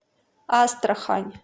астрахань